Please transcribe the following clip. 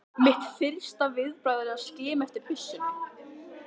Mitt fyrsta viðbragð er að skima eftir byssunni.